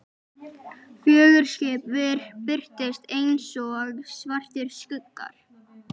Fjögur skip birtust einsog svartir skuggar.